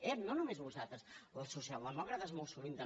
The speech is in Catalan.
ep no només vosaltres els socialdemòcrates molt sovint també